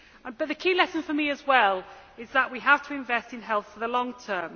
But the key lesson for me as well is that we have to invest in health for the long term.